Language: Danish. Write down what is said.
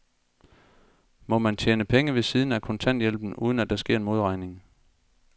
Må man tjene penge ved siden af kontanthjælpen, uden at der sker en modregning?